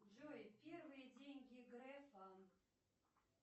джой первые деньги грефа